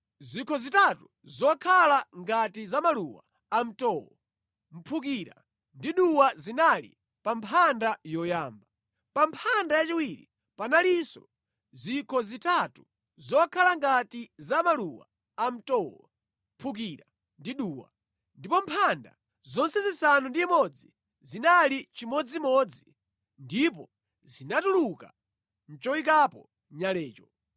Zikho zitatu zokhala ngati za maluwa amtowo, mphukira ndi duwa zinali pa mphanda yoyamba. Pa mphanda yachiwiri panalinso zikho zitatu zokhala ngati za maluwa amtowo, mphukira ndi duwa. Ndipo mphanda zonse zisanu ndi imodzi zinali chimodzimodzi ndipo zinatuluka mʼchoyikapo nyalecho.